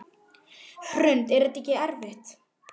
Hrund: Er þetta ekkert erfitt?